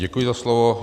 Děkuji za slovo.